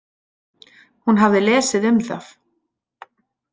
Hún hafði lesið um það.